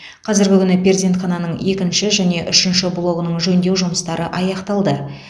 қазіргі күні перзентхананың екінші және үшінші блогының жөндеу жұмыстары аяқталды